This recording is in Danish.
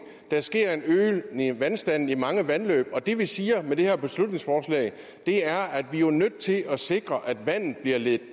der sker en øgning af vandstanden i mange vandløb det vi siger med det her beslutningsforslag er at vi jo er nødt til at sikre at vandet bliver ledt